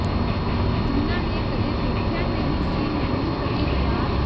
ਜਿੰਨਾਂ ਨੇ ਕਦੇ ਦੇਖਿਆ ਨਹੀ ਸੀ ਮੈਨੂੰ ਕਦੇ ਪਿਆਰ